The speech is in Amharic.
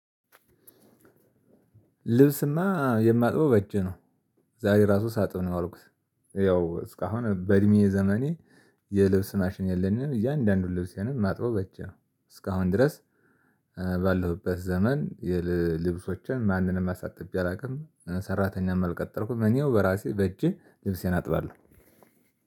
ልብስማ የማጥበው በእጅ ነው። ዛሬ ራሱ ሳጥብ ነው የዋልኩት። እስካሁን በእድሜ ዘመኔ የልብስ ማሽን የለኝም እያንዳንዱን ልብሴን ማጥበው በእጄ ነው። እስካሁን ድረስ። ባለሁበት ዘመን የልብሶችን ማንንም አሳጥቤ አላውቅም ሰራተኛም አልቀጠርኩም እኔው በራሴ በእጄ ልብሴን አጥባለሁ።